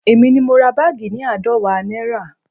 Èmi ni mo ra báàgì ni aadọwa náírà